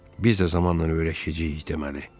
Biz də zamanla öyrəşəcəyik deməli.